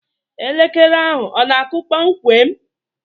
Elekere ahụ ọ na-akụ kpọmkwem?